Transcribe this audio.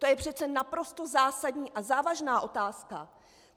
To je přece naprosto zásadní a závažná otázka.